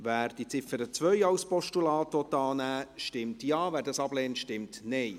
Wer die Ziffer 2 als Postulat annehmen will, stimmt Ja, wer dies ablehnt, stimmt Nein.